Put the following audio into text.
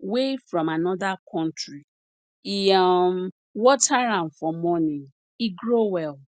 wey from another country e um water am for morning e grow well